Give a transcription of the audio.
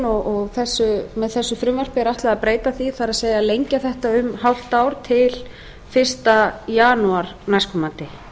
og með þessu frumvarpi er ætlað að breyta því það er lengja þetta um hálft ár til fyrsta janúar næstkomandi